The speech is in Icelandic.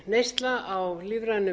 neysla á lífrænum